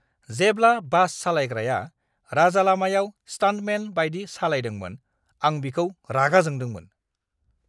जेब्ला बास सालायग्राया राजालामायाव स्टान्टमेन बायदि सालायदोंमोन, आं बिखौ रागा जोंदोंमोन।